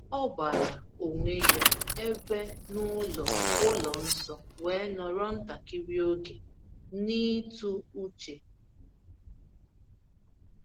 O gbara onwe ya ebe n’ụlọ ụlọ nsọ, wee nọrọ ntakịrị oge n’ịtụ uche.